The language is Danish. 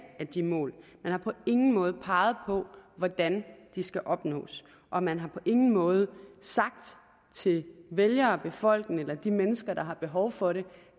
af de mål man har på ingen måde peget på hvordan de skal opnås og man har på ingen måde sagt til vælgere og befolkning eller de mennesker der har behov for det